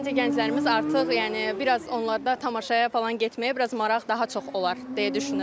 Məncə gənclərimiz artıq yəni bir az onlarda tamaşaya falan getməyə bir az maraq daha çox olar deyə düşünürəm.